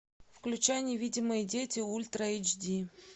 включай невидимые дети ультра эйч ди